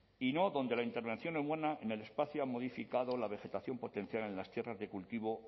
y no donde la intervención humana en el espacio ha modificado la vegetación potencial en las tierras de cultivo